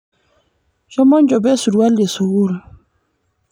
shomo njopo esurwali eskul